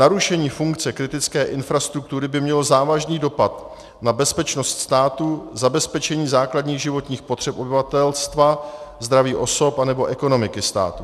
Narušení funkce kritické infrastruktury by mělo závažný dopad na bezpečnost státu, zabezpečení základních životních potřeb obyvatelstva, zdraví osob nebo ekonomiky státu.